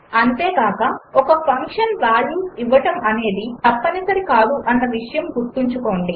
అంతేకాక ఒక function values ఇవ్వడం అనేది తప్పనిసరి కాదు అన్న విషయం గుర్తుంచుకోండి